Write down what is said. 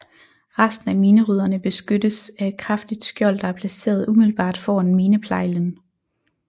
Resten af minerydderne beskyttes af et kraftigt skjold der er placeret umiddelbart foran mineplejlen